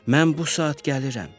Mən bu saat gəlirəm.